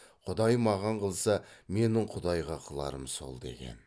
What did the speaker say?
құдай маған қылса менің құдайға қыларым сол деген